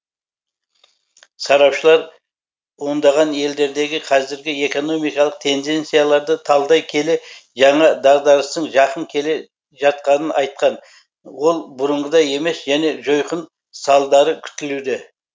сарапшылар ондаған елдердегі қазіргі экономикалық тенденцияларды талдай келе жаңа дағдарыстың жақын келе жатқанын айтқан ол бұрынғыдай емес және жойқын салдары күтілуде